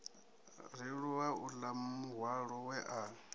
rulea uḽa muhwalo we a